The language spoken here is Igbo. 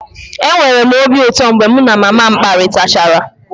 Enwere m obi ụtọ mgbe mụ na mama m kparịtachara